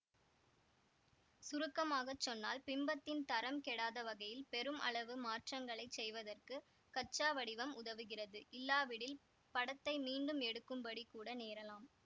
சுருக்கமாக சொன்னால் பிம்பத்தின் தரம் கெடாத வகையில் பெரும் அளவு மாற்றஙகளைச் செய்வதற்கு கச்சா வடிவம் உதவுகிறது இல்லாவிடில் படத்தை மீண்டும் எடுக்கும்படி கூட நேரலாம்